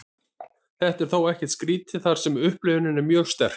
þetta er þó ekkert skrítið þar sem upplifunin er mjög sterk